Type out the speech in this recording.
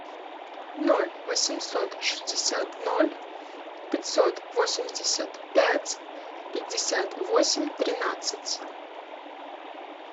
ноль восемьсот шестьдесят ноль пятьсот восемьдесят пять пятьдесят восемь тринадцать